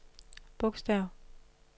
bogstav